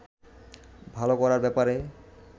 ভালো করার ব্যাপারে